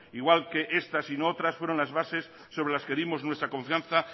igual que estas y no otras fueron las bases sobre las que dimos nuestra confianza